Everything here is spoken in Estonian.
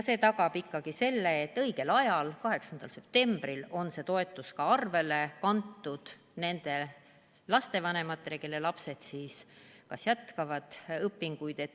See tagab selle, et õigel ajal, 8. septembril on see toetus arvele kantud nendele lastevanematele, kelle lapsed jätkavad õpinguid.